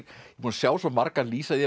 búinn að sjá svo marga lýsa því